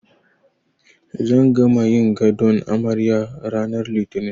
Zan gama yin gadon amaryar ranar Litini.